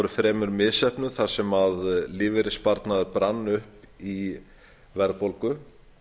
fremur misheppnuð þar sem lífeyrissparnaður brann upp í verðbólgu